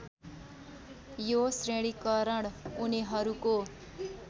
यो श्रेणीकरण उनीहरूको